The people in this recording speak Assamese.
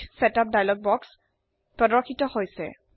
পেজ সেটআপ দাইলগ বক্স প্ৰৰ্দশিত হৈছে